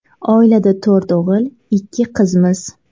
Oilada to‘rt o‘g‘il, ikki qizmiz.